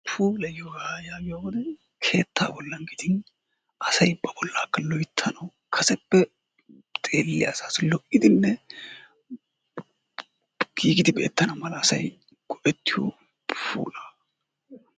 puulayiyoogaa yaagiyobati keetta gidin asay ba bolaaka loyttanawu kaseppe xeeliya asaassi giigidi beetanaasi asay go'etiyoogaa giyoga,